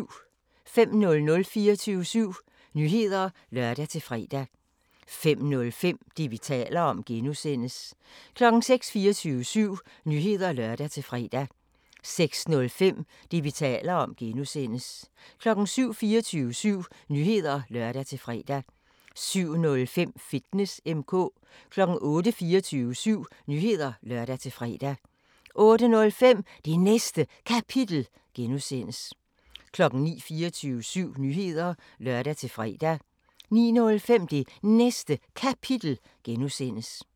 05:00: 24syv Nyheder (lør-fre) 05:05: Det, vi taler om (G) 06:00: 24syv Nyheder (lør-fre) 06:05: Det, vi taler om (G) 07:00: 24syv Nyheder (lør-fre) 07:05: Fitness M/K 08:00: 24syv Nyheder (lør-fre) 08:05: Det Næste Kapitel (G) 09:00: 24syv Nyheder (lør-fre) 09:05: Det Næste Kapitel (G)